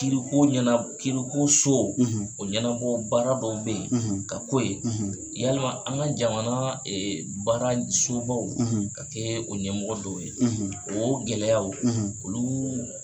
Kiriko ɲɛna kiriko so o ɲɛnabɔ baara dɔw bɛ ye ka k'o ye yalima an ka jamana baarasobaw ka kɛ o ɲɛmɔgɔ dɔw ye o gɛlɛyaw olu